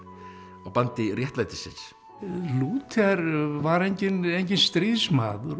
á bandi réttlætisins Lúther var enginn enginn stríðsmaður og